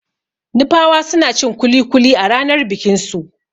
Nupawa suna cin kuli-kuli a ranar bikin su.